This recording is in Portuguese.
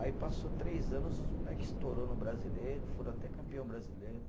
Aí passou três anos, os moleque estourou no brasileiro, foram até campeão brasileiro.